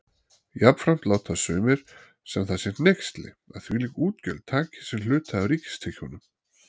Jafnframt láta sumir sem það sé hneyksli, að þvílík útgjöld taki sinn hluta af ríkistekjunum.